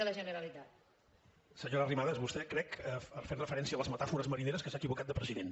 senyora arrimadas vostè fent referència a les metàfores marineres crec que s’ha equivocat de president